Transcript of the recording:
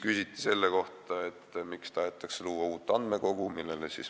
Küsiti selle kohta, miks tahetakse luua uut andmekogu.